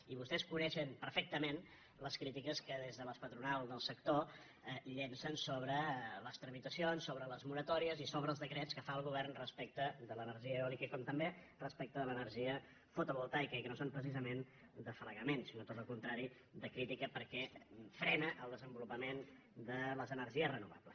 i vostès coneixen perfectament les crítiques que des de les patronals del sector llancen sobre les tramitacions i sobre les mo·ratòries i sobre els decrets que fa el govern respecte de l’energia eòlica com també respecte de l’energia fo tovoltaica i que no són precisament d’afalagament sinó tot el contrari de crítica perquè frena el desenvo·lupament de les energies renovables